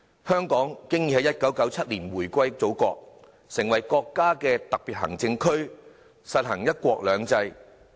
香港已經在1997年回歸祖國，成為國家的特別行政區，實行"一國兩制"。